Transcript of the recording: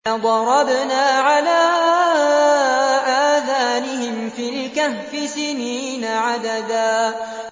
فَضَرَبْنَا عَلَىٰ آذَانِهِمْ فِي الْكَهْفِ سِنِينَ عَدَدًا